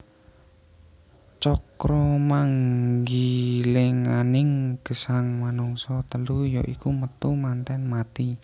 Cakramanggilinganing gesang manungsa telu ya iku Metu Manten Mati